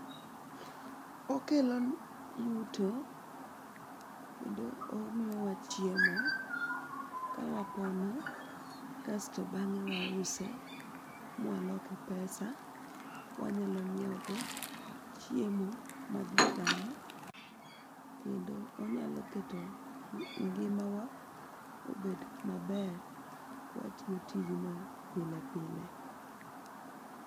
Okelo yuto, kendo omiyowa chiemo kawapono kasto bang'e wause mwaloke pesa wanyalo ng'iewogo chiemo maji chamo kendo onyalo keto ngimawa obed maber kwatiyo tijno pile pile.